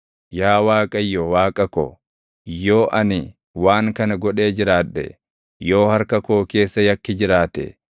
Yaa Waaqayyo Waaqa ko, yoo ani waan kana godhee jiraadhe yoo harka koo keessa yakki jiraate,